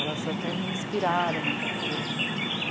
Elas até me inspiraram muita coisa.